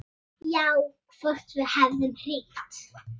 Já, hvort við hefðum hringt.